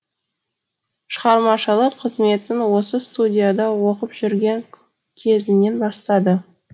шығармашылық қызметін осы студияда оқып жүрген кезінен бастады